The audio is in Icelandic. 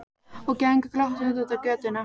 Og gengur glottandi út á götuna.